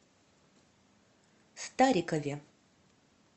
старикове